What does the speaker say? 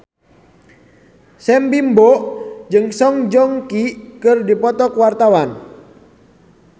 Sam Bimbo jeung Song Joong Ki keur dipoto ku wartawan